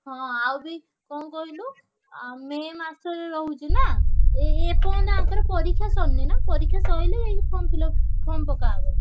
ଆଉ ବି କଣ କହିଲୁ ଆ ମେ ମାସ ରେ ରହୁଛି ନାଁ ଏପର୍ଯ୍ୟନ୍ତ ଆଂକର ପରୀକ୍ଷା ସରିନି ନାଁ ପରୀକ୍ଷା ସାଇଲେ form fillup, form ପକାହବ।